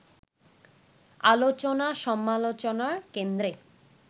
আলোচনা-সমালোচনার কেন্দ্রে